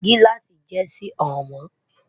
giláasi jé Si hàn mọ